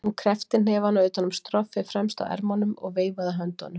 Hún kreppti hnefana utan um stroffið fremst á ermunum og veifaði höndunum.